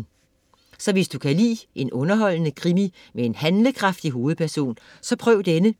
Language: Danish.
Så hvis du kan lide en underholdende krimi med en handlekraftig hovedperson, så prøv denne.